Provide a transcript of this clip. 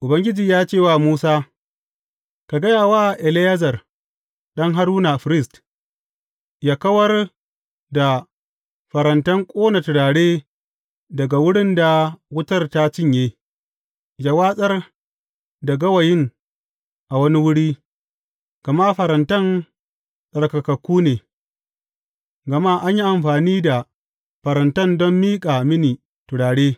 Ubangiji ya ce wa Musa, Ka gaya wa Eleyazar ɗan Haruna, firist, yă kawar da farantan ƙona turare daga wurin da wutar ta cinye, yă watsar da gawayin a wani wuri, gama farantan tsarkakakku ne, gama an yi amfani da farantan don miƙa mini turare.